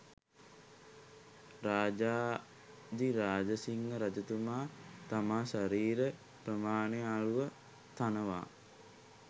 රාජාධිරාජසිංහ රජතුමා තම ශරීර ප්‍රමාණය අනුව තනවා